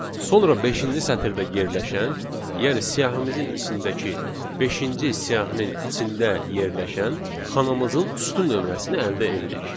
Sonra beşinci sətirdə yerləşən, yəni siyahımızın içindəki beşinci siyahının içində yerləşən xanamızın sütun nömrəsini əldə edirik.